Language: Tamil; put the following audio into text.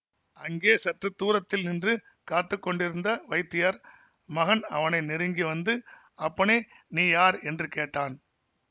அங்கே சற்று தூரத்தில் நின்று காத்து கொண்டிருந்த வைத்தியர் மகன் அவனை நெருங்கி வந்து அப்பனே நீ யார் என்று கேட்டான்